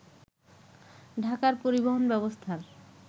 ঢাকার পরিবহন ব্যবস্থার